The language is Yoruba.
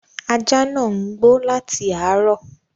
Ajá ńáà ń gbó láti àárọ